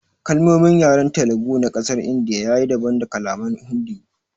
Kalmomin yaren Telugu na kasar india ya yi daban da kalaman Hindi.